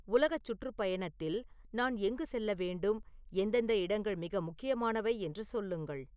உலகச் சுற்றுப்பயணத்தில் நான் எங்கு செல்ல வேண்டும் எந்தெந்த இடங்கள் மிக முக்கியமானவை என்று சொல்லுங்கள்